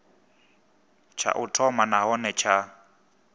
tsha u thoma nahone tsha